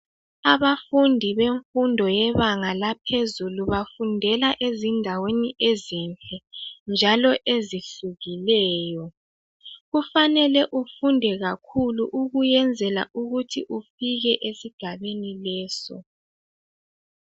Abafundi bemfundo yebanga laphezulu bafundela ezindaweni ezinhle njalo ezehlukileyo kufanele ufunde kakhulu ukuyenzela ukuthi ufike esigabeni leso.